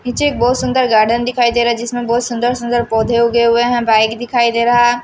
पीछे एक बहुत सुंदर गार्डन दिखाई दे रहा है जिसमें बहुत सुंदर सुंदर पौधे उगे हुए हैंबाइक दिखाई दे रहा--